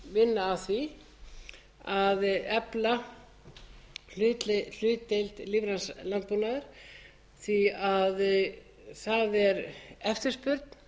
vinna að því að efla hlutdeild lífræns landbúnaðar því að það er eftirspurn